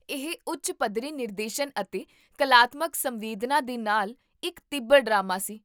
ਇਹ ਉੱਚ ਪੱਧਰੀ ਨਿਰਦੇਸ਼ਨ ਅਤੇ ਕਲਾਤਮਕ ਸੰਵੇਦਨਾ ਦੇ ਨਾਲ ਇੱਕ ਤੀਬਰ ਡਰਾਮਾ ਸੀ